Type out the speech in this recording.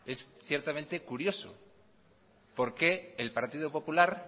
es ciertamente curioso por qué el partido popular